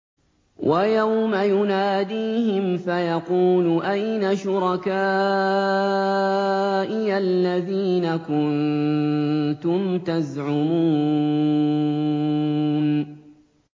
وَيَوْمَ يُنَادِيهِمْ فَيَقُولُ أَيْنَ شُرَكَائِيَ الَّذِينَ كُنتُمْ تَزْعُمُونَ